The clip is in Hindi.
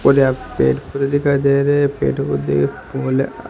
पेट पूरी दिखाई दे रहे पेट --